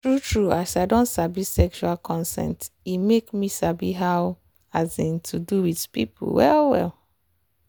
true true as i don sabi sexual consent e make me sabi how um to do with people well well.